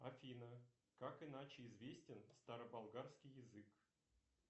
афина как иначе известен староболгарский язык